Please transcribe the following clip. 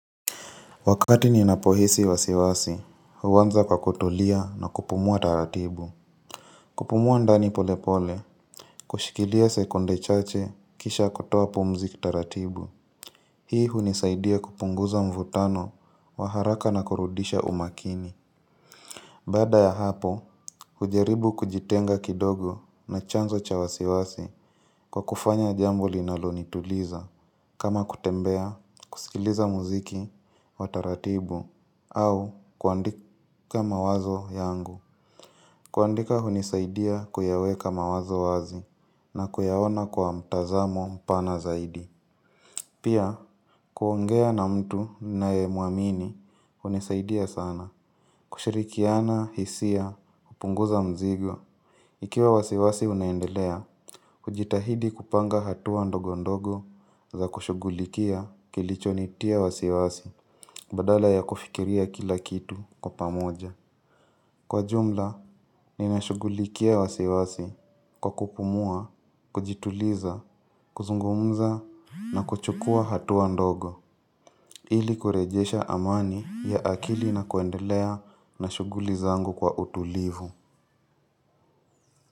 Wakati ninapohisi wasiwasi, huanza kwa kutulia na kupumua taratibu kupumua ndani polepole, kushikilia sekunde chache kisha kutoa pumzi kitaratibu Hii hunisaidia kupunguza mvutano, waharaka na kurudisha umakini Baada ya hapo, hujaribu kujitenga kidogo na chanzo cha wasiwasi kwa kufanya jambo linalonituliza kama kutembea, kusikiliza muziki, wa taratibu, au kuandika mawazo yangu kuandika hunisaidia kuyaweka mawazo wazi na kuyaona kwa mtazamo mpana zaidi Pia, kuongea na mtu ninaye muamini hunisaidia sana kushirikiana, hisia, hupunguza mzigo Ikiwa wasiwasi unaendelea hujitahidi kupanga hatua ndogo ndogo za kushughulikia kilicho nitia wasiwasi Badala ya kufikiria kila kitu kwa pamoja Kwa jumla, ninashughulikia wasiwasi kwa kupumua, kujituliza, kuzungumza na kuchukua hatua ndogo ili kurejesha amani ya akili na kuendelea na shughuliz angu kwa utulivu.